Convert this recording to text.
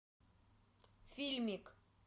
фильмик